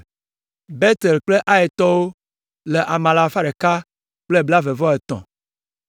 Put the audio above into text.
Betel kple Aitɔwo le ame alafa ɖeka kple blaeve-vɔ-etɔ̃ (123).